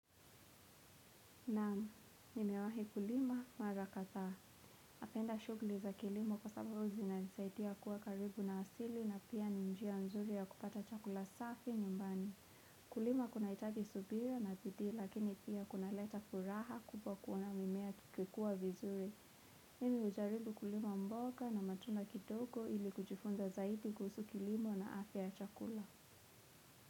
Naam, nimewahi kulima, mara kadhaa. Napenda shughuli za kilimo kwa sababu huwa zinanisaidia kuwa karibu na asili na pia ninjia nzuri ya kupata chakula safi nyumbani. Kulima kuna itaji subira na bidii lakini pia kuna leta furaha kubwa kuona mimea ikikua vizuri. Nimi ujaribu kulima mboka na matunda kidogo ili kujifunza zaidi kuhusu kilimo na afya ya chakula.